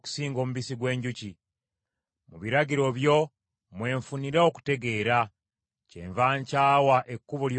Mu biragiro byo mwe nfunira okutegeera; kyenva nkyawa ekkubo lyonna ekyamu.